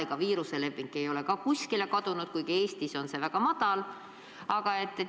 Ega viiruse levik ei ole lõppenud, kuigi Eestis on haigestumus väga madal.